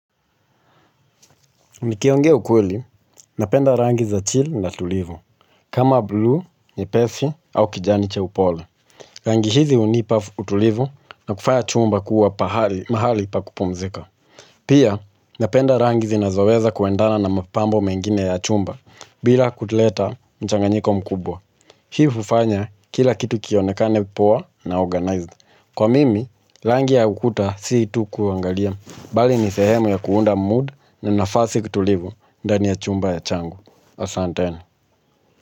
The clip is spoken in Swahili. Nikiongea ukweli, napenda rangi za chill na tulivu kama bluu, nyepesi au kijani cha upole. Rangi hizi hunipa utulivu na kufanya chumba kuwa mahali pa kupumzika. Pia napenda rangi zinazoweza kuendana na mapambo mengine ya chumba bila kuleta mchanganyiko mkubwa hii hufanya kila kitu kionekane poa na organized. Kwa mimi, rangi ya ukuta si tu kuangalia, bali ni sehemu ya kuunda mood na nafasi kutulivu. Ndani ya chumba ya changu asanteni.